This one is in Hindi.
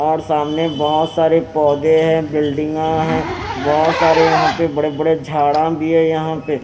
और सामने बहुत सारे पौधे हैं बिल्डिंगा है बहुत सारे यहां पे बड़े-बड़े झाड़ा भी हैं यहाँ पे।